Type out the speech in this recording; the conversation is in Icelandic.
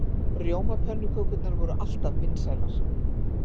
Rjómapönnukökurnar voru alltaf vinsælar.